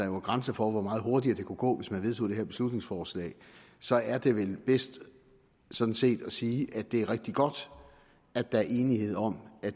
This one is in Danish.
nogle grænser for hvor meget hurtigere det kunne gå hvis man vedtog det her beslutningsforslag så er det vel bedst sådan set at sige at det er rigtig godt at der er enighed om at